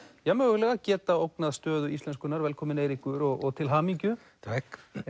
geta ógnað stöðu íslenskunnar velkominn Eiríkur og til hamingju takk